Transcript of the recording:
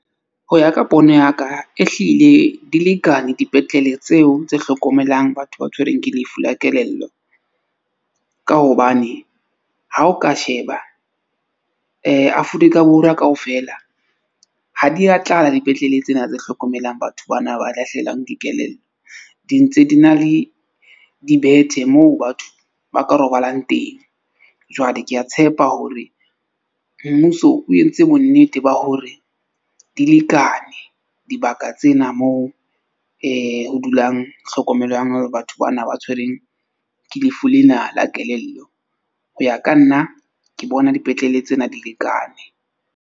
Ho ya ka pono ya ka e hlile di lekane dipetlele tseo tse hlokomelang batho ba tshwerweng ke lefu la kelello, ka hobane ha o ka sheba Afrika Borwa kaofela ha di a tlala dipetlele tsena tse hlokomelang batho bana ba lahlehelwang ke kelello. Di ntse di na le dibethe moo batho ba ka robalang teng. Jwale ke a tshepa hore mmuso o entse bonnete ba hore di lekane dibaka tsena moo ho dulang tlhokomelwang hore batho bana ba tshwerweng ke lefu lena la kelello. Ho ya ka nna ke bona dipetlele tsena di lekane.